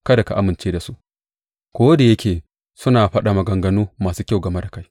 Kada ka amince da su, ko da yake suna faɗa maganganu masu kyau game da kai.